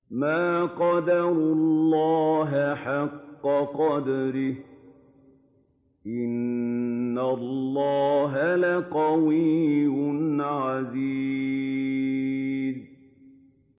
مَا قَدَرُوا اللَّهَ حَقَّ قَدْرِهِ ۗ إِنَّ اللَّهَ لَقَوِيٌّ عَزِيزٌ